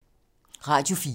Radio 4